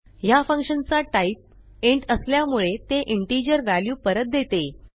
ह्या फंक्शन चा type int असल्यामुळे ते इंटिजर व्हॅल्यू परत देते